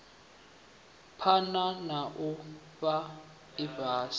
phana na u fhaa ifhasi